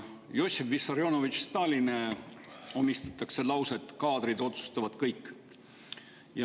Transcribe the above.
Jossif Vissarionovitš Stalinile omistatakse lauset "Kaadrid otsustavad kõik".